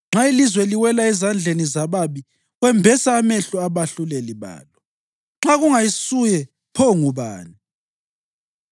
Nxa ilizwe liwela ezandleni zababi, wembesa amehlo abahluleli balo. Nxa kungayisuye, pho ngubani?